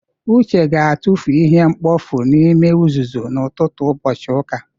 Uche ga-atụfu ihe mkpofu n'ime uzuzu n'ụtụtụ ụbọchị ụka.